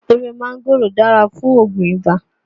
Ewé máńgòrò dára fún Ògùn ibà